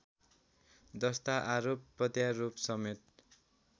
जस्ता आरोप प्रत्यारोपसमेत